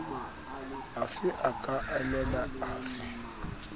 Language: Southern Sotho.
afe a ka imela afe